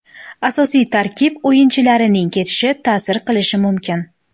Asosiy tarkib o‘yinchilarining ketishi ta’sir qilishi mumkin.